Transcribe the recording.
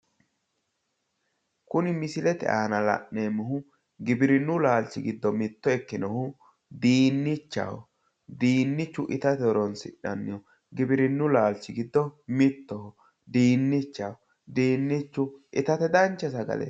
Kuni misilete aana la'neemmohu giwirinnu laalchi giddo mitto ikkinohu diinnichaho. diinnichu itate horonsi'nanniho. giwirinnu laalchi giddo mittoho. diinnichaho. diinnichu itate dancha sagaleeti.